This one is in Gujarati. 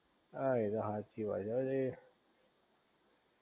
હા એ તો હાચી વાત છે હો ઈ